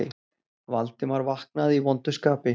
Valdimar vaknaði í vondu skapi.